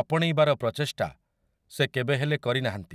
ଆପଣେଇବାର ପ୍ରଚେଷ୍ଟା ସେ କେବେହେଲେ କରିନାହାନ୍ତି ।